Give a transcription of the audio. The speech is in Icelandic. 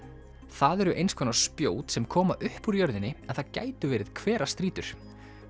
það eru eins konar spjót sem koma upp úr jörðinni en það gætu verið hverastrýtur